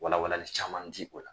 Walawali caman di o la.